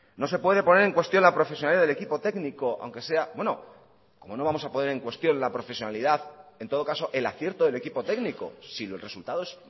no se puede poner en cuestión la profesionalidad del equipo técnico aunque sea bueno cómo no vamos a poder en cuestión la profesionalidad en todo caso el acierto del equipo técnico si los resultados